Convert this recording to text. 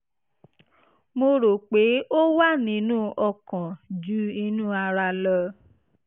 mo rò pé ó wà nínú ọkàn ju inú ara lọ